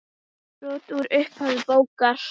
Brot úr upphafi bókar